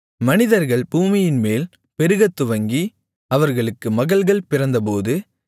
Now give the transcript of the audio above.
மனிதர்கள் பூமியின்மேல் பெருகத்துவங்கி அவர்களுக்கு மகள்கள் பிறந்தபோது